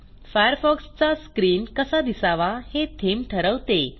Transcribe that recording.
फायरफॉक्सचा screen कसा दिसावा हे थीम ठरवते